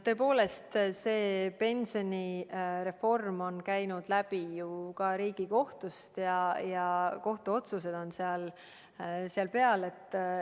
Tõepoolest, see pensionireform on käinud läbi ka Riigikohtust ja kohtuotsused on seal taga.